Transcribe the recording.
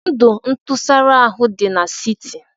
Ndụ ntụsara ahụ dị n'siti